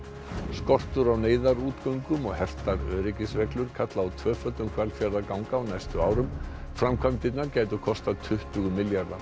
skortur á neyðarútgöngum og hertar öryggisreglur kalla á tvöföldun Hvalfjarðarganga á næstu árum framkvæmdirnar gætu kostað tuttugu milljarða